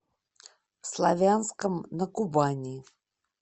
славянском на кубани